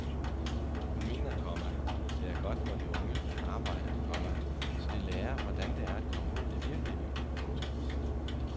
Hun mener, komma det er godt for de unge at arbejde, komma så de lærer hvordan det er at komme ud i det virkelige liv. punktum